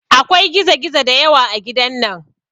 Akwai gizo gizo da yawa a gidan nan